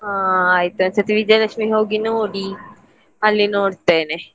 ಹಾ ಆಯ್ತು ಒಂದು ಸತಿ ವಿಜಯಜಯಲಕ್ಷ್ಮೀಗೆ ಹೋಗಿ ನೋಡಿ ಅಲ್ಲಿ ನೋಡ್ತೇನೆ.